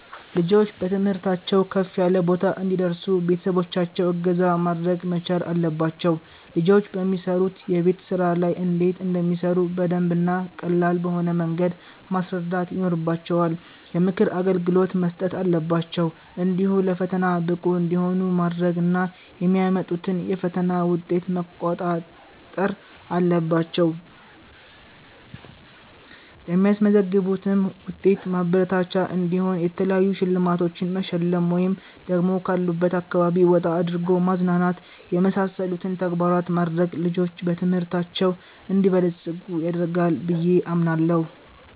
ልጆች በትምህርታቸው ከፍ ያለ ቦታ እንዲደርሱ ቤተሰቦቻቸው እገዛ ማድረግ መቻል አለባቸው ልጆች በሚሰሩት የቤት ስራ ላይ እንዴት እንደሚሰሩ በደንብ እና ቀላል በሆነ መንገድ ማስረዳት ይኖርባቸዋል፣ የምክር አገልግሎት መስጠት አለባቸው፣ እንዲሁ ለፈተና ብቁ እንዲሆኑ ማድረግ እና የሚያመጡትን የፈተና ዉጤት መቋጣጠር አለባቸው ለሚያስመዘግቡትም ዉጤት ማበረታቻ እንዲሆን የተለያዩ ሽልማቶቺን መሸለም ወይ ደግሞ ካሉበት አካባቢ ወጣ አድርጎ ማዝናናት የመሳሰሉትን ተግባራት ማድረግ ልጆች በትምህርታቸው እንዲበለፅጉ ያደርጋል ብየ አምናለሁ